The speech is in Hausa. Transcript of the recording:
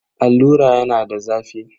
Allura yana da zafi.